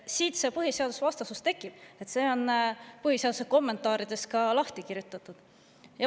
Siit see põhiseadusvastasus tekib, see on põhiseaduse kommentaarides ka lahti kirjutatud.